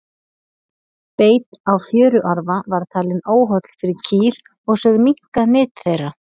Beit á fjöruarfa var talinn óholl fyrir kýr og sögð minnka nyt þeirra.